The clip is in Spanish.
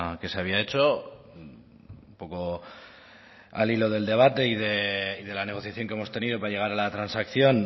que se había hecho un poco al hilo del debate y de la negociación que hemos tenido para llegar a la transacción